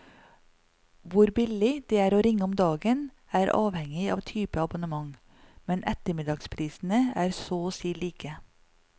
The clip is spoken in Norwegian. Hvor billig det er å ringe om dagen, er avhengig av type abonnement, men ettermiddagsprisene er så og si like.